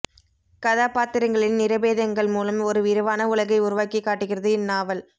கதாபாத்திரங்களின் நிறபேதங்கள் மூலம் ஒரு விரிவான உலகை உருவாக்கிக் காட்டுகிறது இந்நாவல்